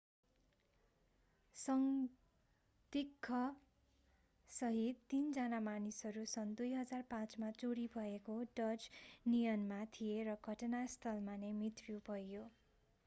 संदिग्ध सहित तीनजना मानिसहरू सन् 2005 मा चोरी भएको डज नियनमा थिए र घटनास्थलमा नै मृत्यु पनि भयो